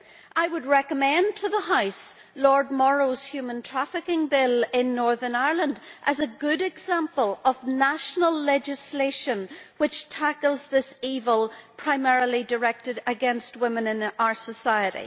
I would recommend to the House Lord Morrow's human trafficking bill in Northern Ireland as a good example of national legislation which tackles this evil that is primarily directed against women in our society.